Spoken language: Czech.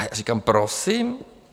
A já říkám, prosím?